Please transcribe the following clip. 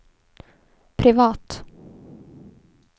privat